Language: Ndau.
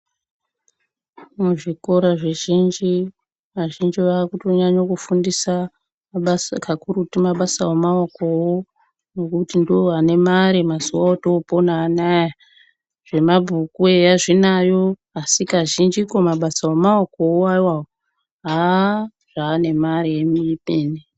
Muzvikora zvizhinji, vazhinji vakutonyanya kufundisa mabasa kakurutu mabasa emaokowo ngokuti ndiwo anemare mazuva otopona anaya. Zvemabhuku eya zvinayo, asi kazhinjiko mabasa emaokowo awawo haa, zvaane mare ipenyu.